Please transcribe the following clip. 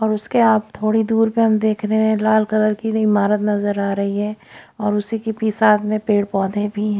और उसके आप थोड़ी दूर पे हम देख रहे हैं लाल कलर की नई इमारत नजर आ रही है और उसी के पीसाध में पेड़ पौधे भी हैं।